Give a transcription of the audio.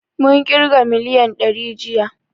Mun ƙirga miliyan dari jiya